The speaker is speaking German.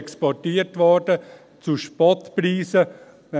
Viel wurde zu Spottpreisen exportiert.